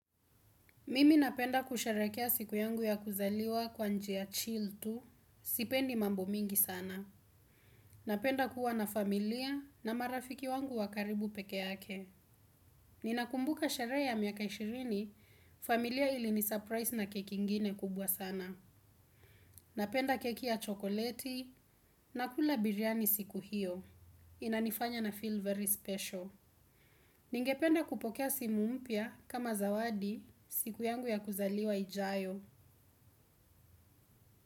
Mimi napenda kusheherekea siku yangu ya kuzaliwa kwa njia chil tu, sipendi mambo mingi sana. Napenda kuwa na familia na marafiki wangu wa karibu peke yake. Ninakumbuka sherehe ya miaka ishirini, familia ili nisurprise na keki ingine kubwa sana. Napenda keki ya chokoleti nakula biryani siku hiyo. Inanifanya na feel very special. Ningependa kupokea simu mpya kama zawadi siku yangu ya kuzaliwa ijayo.